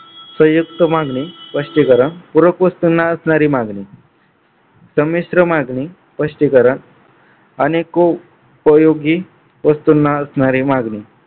संयुक्त मागणी स्पष्टीकरण पूरक वस्तुंना असणारी मागणी संमिश्र मागणी स्पष्टीकरण अनिकोपयोगी वस्तुंना असलेली मागणी